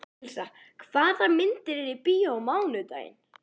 Elísa, hvaða myndir eru í bíó á mánudaginn?